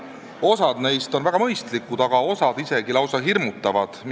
Osa neist on väga mõistlikud, osa aga isegi lausa hirmutavad.